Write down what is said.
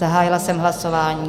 Zahájila jsem hlasování.